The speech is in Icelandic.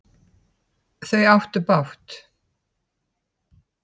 Þau áttu bágt!